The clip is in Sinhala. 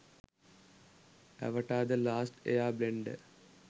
avatar the last air blender